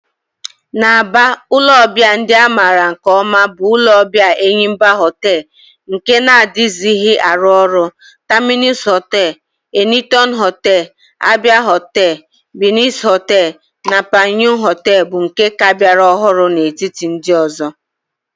N'Aba, ulo obia ndi a mara nke oma bu ulo obia Enyimba Hotel nke na-adighizi aru oru, Terminus Hotel, Enitona Hotel, Abia Hotel, Binez Hotel, na Panyu Hotel bu nke ka biara ohuru n'etiti ndi ozo.